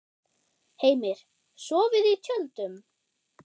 Heimir: Sofið í tjöldum?